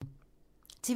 TV 2